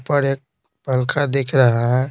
ऊपर एक पंखा दिख रहा है।